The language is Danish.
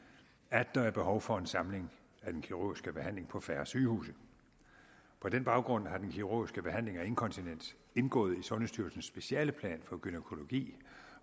at der er behov for en samling af den kirurgiske behandling på færre sygehuse på den baggrund har den kirurgiske behandling af inkontinens indgået i sundhedsstyrelsens specialeplan for gynækologi